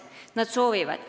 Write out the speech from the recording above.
Nad soovivad seda.